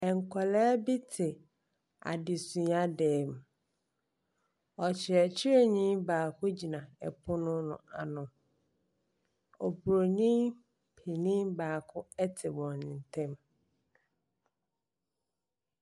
Nkwaraa bi te adesuadam. Ɔkyerɛkyerɛni baako gyina ɛpono no ano. Oburoni panin baako te wɔn ntam.